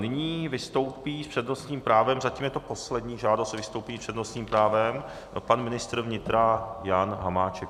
Nyní vystoupí s přednostním právem, zatím je to poslední žádost o vystoupení s přednostním právem, pan ministr vnitra Jan Hamáček.